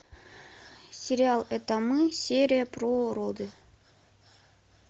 сериал это мы серия про роды